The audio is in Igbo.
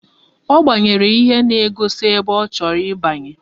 Ọ gbanyere ihe na-egosi ebe ọ chọrọ ibanye.